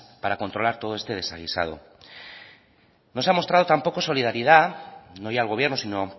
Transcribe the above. para controlar todo este desaguisado no se ha mostrado tampoco solidaridad no ya el gobierno sino